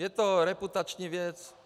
Je to reputační věc.